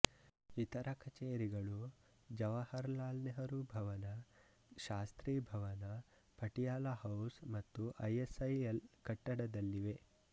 ಇತರ ಕಚೇರಿಗಳು ಜವಾಹರಲಾಲ್ ನೆಹರು ಭವನ ಶಾಸ್ತ್ರಿ ಭವನ ಪಟಿಯಾಲ ಹೌಸ್ ಮತ್ತು ಐಎಸ್ಐಎಲ್ ಕಟ್ಟಡದಲ್ಲಿವೆ